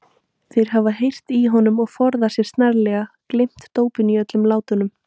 Þeir hafa heyrt í honum og forðað sér snarlega, gleymt dópinu í öllum látunum!